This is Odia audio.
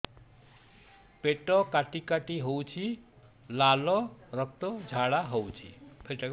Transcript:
ପେଟ କାଟି କାଟି ହେଉଛି ଲାଳ ରକ୍ତ ଝାଡା ହେଉଛି